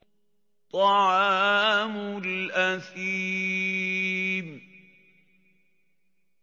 طَعَامُ الْأَثِيمِ